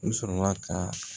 U sɔrɔla ka